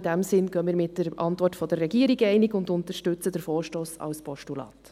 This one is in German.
In diesem Sinn gehen wir mit der Antwort der Regierung einig und unterstützen den Vorstoss als Postulat.